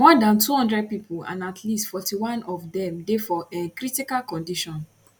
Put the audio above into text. more dan 200 pipo and at least 41 of dem dey for um critical condition